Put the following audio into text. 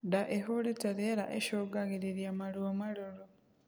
Ndaa ihurite rĩera icungagirirĩa maruo marũrũ